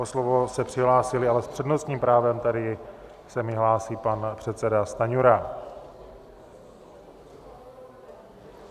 O slovo se přihlásili - ale s přednostním právem tady se mi hlásí pan předseda Stanjura.